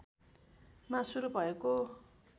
मा सुरू भएको